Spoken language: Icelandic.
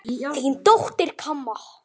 Þín dóttir, Kamma.